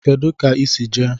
Kedu ka I si jee?